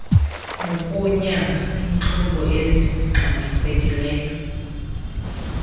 nokunyanga iintlungu ezingxamisekileyo